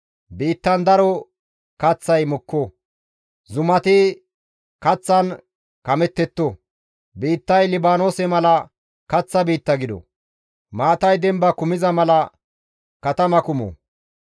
Biittan daro kaththay mokko; zumati kaththan kamettetto; Biittay Libaanoose mala kaththa biitta gido; maatay demba kumiza mala katama kumo.